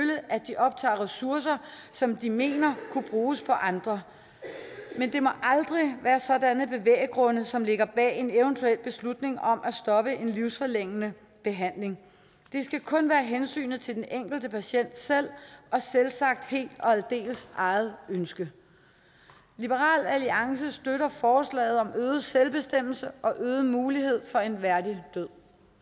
at de optager ressourcer som de mener kunne bruges på andre men det må aldrig være sådanne bevægegrunde som ligger bag en eventuel beslutning om at stoppe en livsforlængende behandling det skal kun være hensynet til den enkelte patient selv og selvsagt helt og aldeles eget ønske liberal alliance støtter forslaget om øget selvbestemmelse og øget mulighed for en værdig død